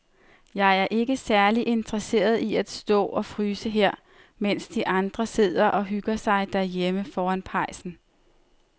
Jeg er ikke særlig interesseret i at stå og fryse her, mens de andre sidder og hygger sig derhjemme foran pejsen.